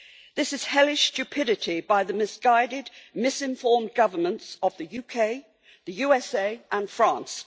This is hellish stupidity by the misguided, misinformed governments of the UK, the USA and France.